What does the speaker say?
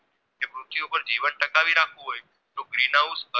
Green house